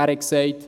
Er hat gesagt: